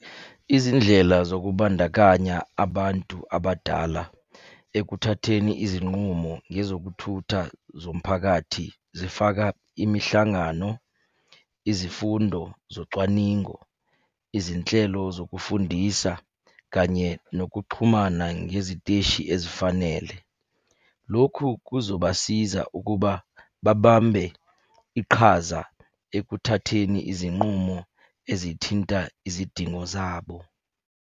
Izindlela zokubandakanya abantu abadala ekuthatheni izinqumo ngezokuthutha zomphakathi zifaka imihlangano, izifundo zocwaningo, izinhlelo zokufundisa kanye nokuxhumana ngeziteshi ezifanele. Lokhu kuzobasiza ukuba babambe iqhaza ekuthatheni izinqumo ezithinta izidingo zabo.